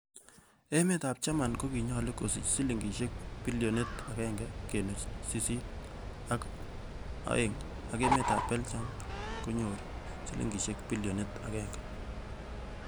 Emetab Germany kokinyolu kosich silingisiek bilionit agenge kenuch sisit ak o'eng, ak emetab Beljam konyor silingisiek bilionit agenge.